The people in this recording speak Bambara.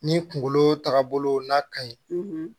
Ni kunkolo tagabolo n'a ka ɲi